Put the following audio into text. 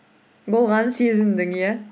болғанын сезіндің иә